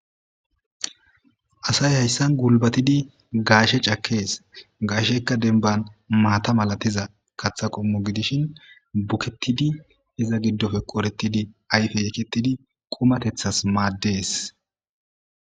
Assayi hayssan gulbathidi gashe cakess gasheshekka demban matha malathizza kaththa qommo gidishin bukethidi izza gidope ayppe ekethidi qumathethas madess.